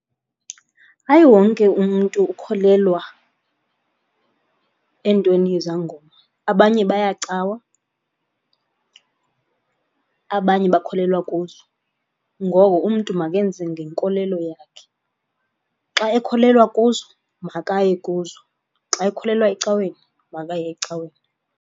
Hayi wonke umntu ukholelwa entweni yezangoma abanye baya cawa, abanye bakholelwa kuzo. Ngoko umntu makenze ngenkolelo yakhe. Xa ekholelwa kuzo, makaye kuzo. Xa ekholelwa ecaweni, makaye ecaweni.